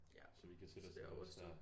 Ja. Så det overstået